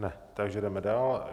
Ne, takže jdeme dál.